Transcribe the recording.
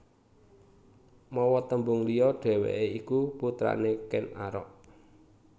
Mawa tembung liya dhèwèké iku putrané Ken Arok